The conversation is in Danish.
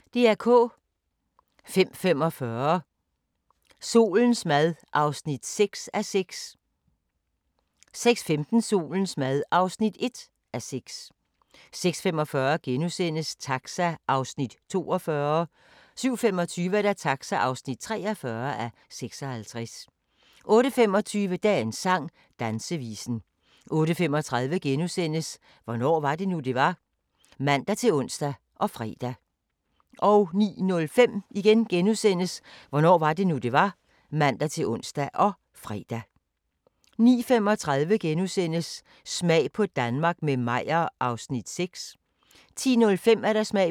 05:45: Solens mad (6:6) 06:15: Solens mad (1:6) 06:45: Taxa (42:56)* 07:25: Taxa (43:56) 08:25: Dagens sang: Dansevisen 08:35: Hvornår var det nu, det var? *(man-ons og fre) 09:05: Hvornår var det nu, det var? *(man-ons og fre) 09:35: Smag på Danmark – med Meyer (6:13)* 10:05: Smag på Danmark – med Meyer (7:13) 10:35: Kongehuset (1:10)